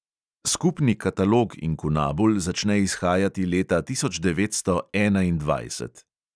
Skupni katalog inkunabul začne izhajati leta tisoč devetsto enaindvajset.